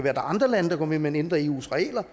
er andre lande der går med man ændrer eus regler